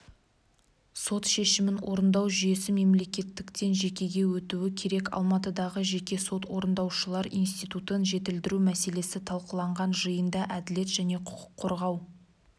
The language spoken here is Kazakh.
сот шешімін орындау жүйесі мемлекеттіктен жекеге өтуі керек алматыдағы жеке сот орындаушылар институтын жетілдіру мәселесі талқыланған жиында әділет және құқық қорғау